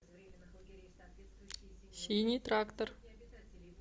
синий трактор